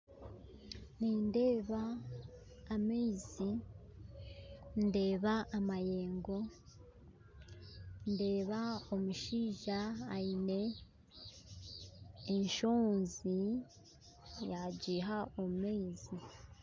Nindeeba amaizi ndeeba amayengo ndeeba omushaija aine eshoonzi yagiha omu maizi